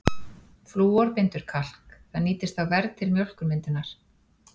Flúor bindur kalk, það nýtist þá verr til mjólkurmyndunar.